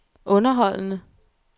underholdende